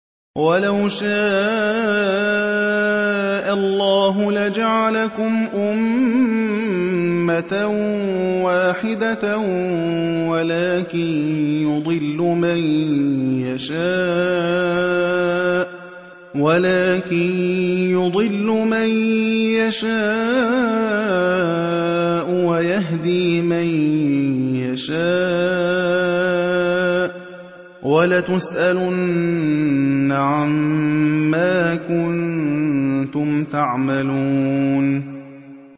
وَلَوْ شَاءَ اللَّهُ لَجَعَلَكُمْ أُمَّةً وَاحِدَةً وَلَٰكِن يُضِلُّ مَن يَشَاءُ وَيَهْدِي مَن يَشَاءُ ۚ وَلَتُسْأَلُنَّ عَمَّا كُنتُمْ تَعْمَلُونَ